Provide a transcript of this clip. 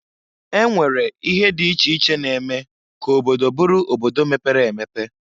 E nwere ihe dị iche iche na-eme ka obodo bụrụ obodo mepere emepe.